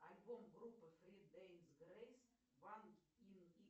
альбом группы фри дейз грейс ван ин